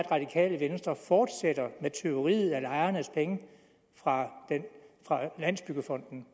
radikale venstre fortsætter med tyveriet af lejernes penge fra landsbyggefonden